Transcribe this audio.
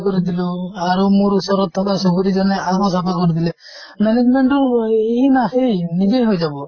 নিজে কৰি দিলো আৰু মোৰ ওচৰত চুবুৰী জনে আধা চাফা কৰি দিলে। management টো আহ ই নাছেই, নিজে হৈ যাব।